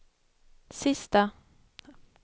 sista